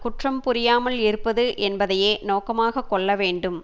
குற்றம் புரியாமல் இருப்பது என்பதையே நோக்கமாக கொள்ள வேண்டும்